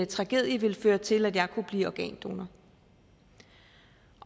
tragedie ville føre til at jeg kunne blive organdonor